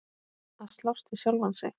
Að slást við sjálfan sig.